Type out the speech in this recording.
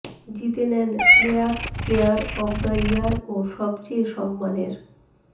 জিতে নেন players player of the year ও সবচেয়ে সম্মানের